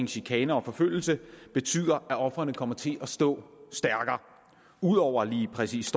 chikane og forfølgelse betyder at ofrene kommer til at stå stærkere ud over lige præcis